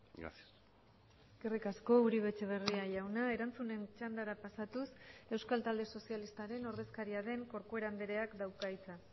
gracias eskerrik asko uribe etxeberria jauna erantzunen txandara pasatuz euskal talde sozialistaren ordezkaria den corcuera andreak dauka hitza